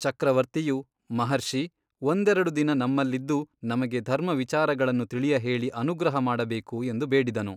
ಚಕ್ರವರ್ತಿಯು ಮಹರ್ಷಿ ಒಂದೆರಡು ದಿನ ನಮ್ಮಲ್ಲಿದ್ದು ನಮಗೆ ಧರ್ಮ ವಿಚಾರಗಳನ್ನು ತಿಳಿಯಹೇಳಿ ಅನುಗ್ರಹಮಾಡಬೇಕು ಎಂದು ಬೇಡಿದನು.